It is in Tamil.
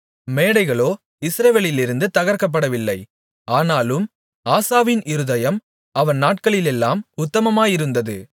மேடைகளோ இஸ்ரவேலிலிருந்து தகர்க்கப்படவில்லை ஆனாலும் ஆசாவின் இருதயம் அவன் நாட்களிலெல்லாம் உத்தமமாயிருந்தது